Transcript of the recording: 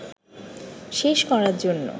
শেষ করার জন্য